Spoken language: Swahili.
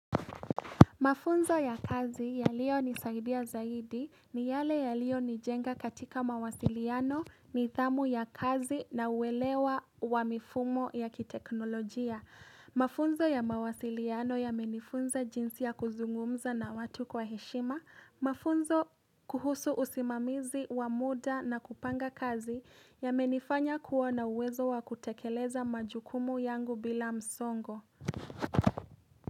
Mafunzo ya kazi yaliyonisaidia zaidi ni yale yaliyo nijenga katika mawasiliano nidhamu ya kazi na uwelewa wa mifumo ya kiteknolojia. Mafunzo ya mawasiliano yamenifunza jinsi ya kuzungumza na watu kwa heshima. Mafunzo kuhusu usimamizi wa muda na kupanga kazi yamenifanya kuwa uwezo wa kutekeleza majukumu yangu bila msongo.